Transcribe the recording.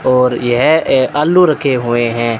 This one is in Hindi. और यह ए आलू रखे हुए हैं।